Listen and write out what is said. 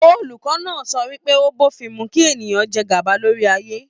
Olùkọ náà sọ wípé, o b'ofin mú kí ènìyàn jẹ gaba lórí ayé.